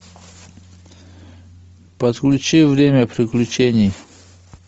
подключи время приключений